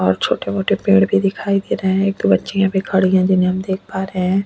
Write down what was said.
और छोटे मोटे पेड़ भी दिखाई दे रहे हैं एक दो बच्चियां भी खड़ी है जिन्हें हम देख पा रहे है।